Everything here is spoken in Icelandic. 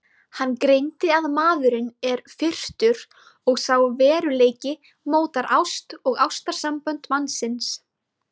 Hann greindi að maðurinn er firrtur og sá veruleiki mótar ást og ástarsambönd mannsins.